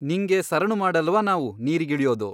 ನಿಂಗೆ ಸರಣು ಮಾಡಲ್ಲವಾ ನಾವು ನೀರಿಗಿಳಿಯೋದು?